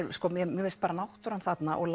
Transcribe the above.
mér finnst náttúran þarna og